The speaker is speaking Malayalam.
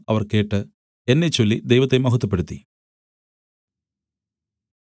അവർ കേട്ട് എന്നെച്ചൊല്ലി ദൈവത്തെ മഹത്വപ്പെടുത്തി